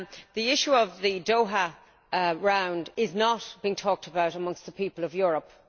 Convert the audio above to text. The issue of the Doha Round is not being talked about amongst the people of Europe.